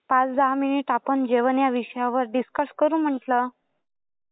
पाच दहा मिनिट आपण जेवण या विषयावर डिस्कस करू म्हटलं.